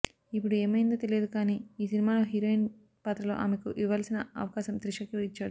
ఇప్పుడు ఏమయ్యిందో తెలియదు కాని ఈ సినిమాలో హీరోయిన్ పాత్రలో ఆమెకు ఇవ్వాల్సిన అవకాశం త్రిషకి ఇచ్చాడు